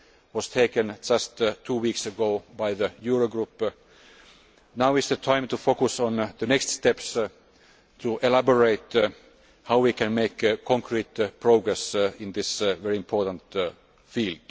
was taken just two weeks ago by the Euro Group, now is the time to focus on the next steps to elaborate how we can make concrete progress in this very important field.